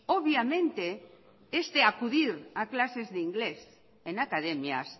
obviamente este acudir a clases de inglés en academias